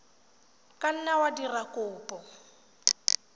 ka nna wa dira kopo